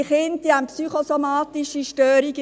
Diese Kinder haben psychosomatische Störungen.